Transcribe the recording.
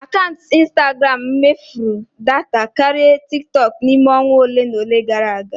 Akaụntụ instagram m mefuru data karịa tikitooku n'ime onwa ole na ole gara aga.